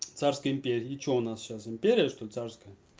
царской империи и что у нас сейчас империя что царская